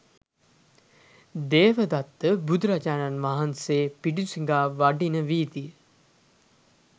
දේවදත්ත බුදුරජාණන් වහන්සේ පිඬු සිඟා වඩින වීදිය